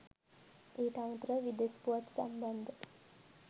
ඊට අමතරව විදෙස් පුවත් සම්බන්ධ